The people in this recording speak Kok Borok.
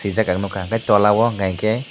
jacket nugkha enke tola o unkha ke.